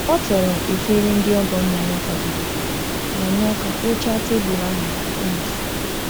O toro efere ndị ọgọ nna ya kwadebere ma nye aka kpochaa tebụl ahụ ka e mesịrị.